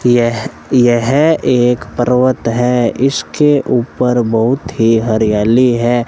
यह यह एक पर्वत है इसके ऊपर बहुत ही हरियाली है।